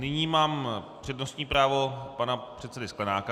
Nyní mám přednostní právo pana předsedy Sklenáka.